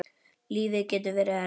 Lífið getur verið erfitt.